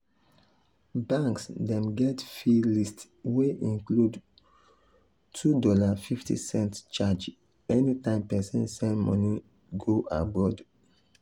banks dem get fee list wey include $2.50 charge anytime person send money go abroad.